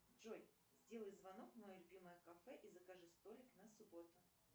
джой сделай звонок в мое любимое кафе и закажи столик на субботу